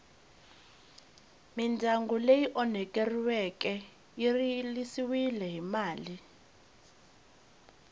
midyangu ityi onheriweke ya rilisiwa hi mali